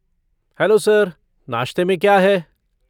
Hello sir, नाश्ते में क्या है?